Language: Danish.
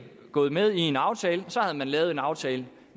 gået med i en aftale havde man lavet en aftale